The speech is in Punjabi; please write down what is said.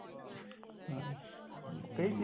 ਹਾਂ ਕਈ